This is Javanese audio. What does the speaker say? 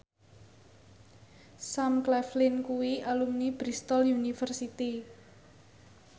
Sam Claflin kuwi alumni Bristol university